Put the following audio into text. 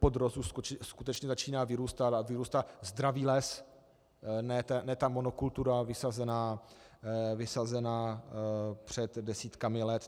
Podrost už skutečně začíná vyrůstat a vyrůstá zdravý les, ne ta monokultura vysazená před desítkami let.